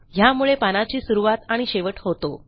ह्यामुळे पानाची सुरूवात आणि शेवट होतो